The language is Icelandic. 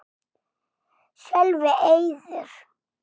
Sölvi: Eiður?